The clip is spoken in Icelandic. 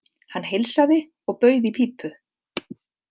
Hann heilsaði og bauð í pípu.